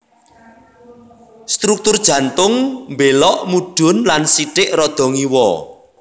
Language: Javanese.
Struktur jantung mbélok mudhun lan sithik rada ngiwa